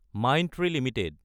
Mindtree Ltd